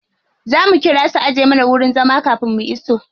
Za mu ƙira su ajiye mana wajen zama kafin mu iso.